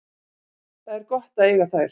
Það er gott að eiga þær.